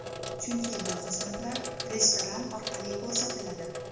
Chunki bu xizmatlar restoran orqali ko‘rsatiladi”.